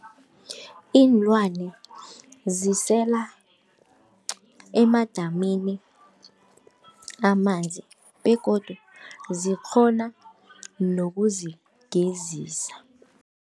Iinlwana zisela emadamini amanzi begodu zikghona nokuzigezisa.